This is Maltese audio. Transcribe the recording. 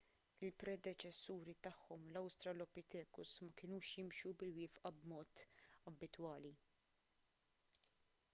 il-predeċessuri tagħhom l-australopithecus ma kinux jimxu bil-wieqfa b'mod abitwali